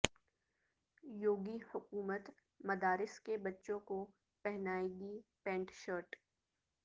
یوگی حکومت مدارس کے بچوں کو پہنائے گی پینٹ شرٹ